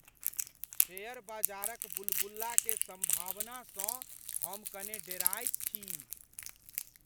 Share बजारक बुलबुला के सम्भावनासँ हम कने डराइत छी।